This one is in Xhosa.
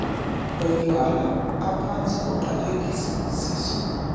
otywala aphantsi koqaphelisiso